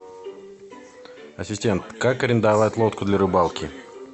ассистент как арендовать лодку для рыбалки